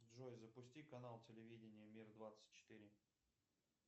джой запусти канал телевидения мир двадцать четыре